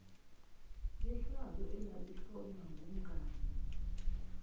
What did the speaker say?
yehlazo elalihlonywa kumngani